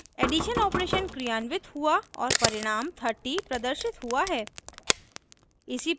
addition operation क्रियान्वित हुआ और परिणाम 30 प्रदर्शित हुआ है